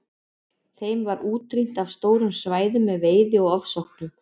Þeim var útrýmt af stórum svæðum með veiði og ofsóknum.